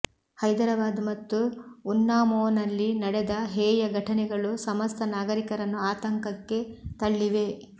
ಹೈದರಾಬಾದ್ ಮತ್ತು ಉನ್ನಾವೋನಲ್ಲಿ ನಡೆದ ಹೇಯ ಘಟನೆಗಳು ಸಮಸ್ತ ನಾಗರಿಕರನ್ನು ಆತಂಕಕ್ಕೆ ತಳ್ಳಿವೆ